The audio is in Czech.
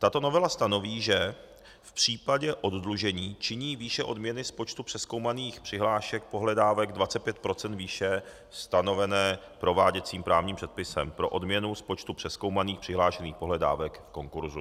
Tato novela stanoví, že v případě oddlužení činí výše odměny z počtu přezkoumaných přihlášek pohledávek 25 % výše stanovené prováděcím právním předpisem pro odměnu z počtu přezkoumaných přihlášených pohledávek v konkurzu.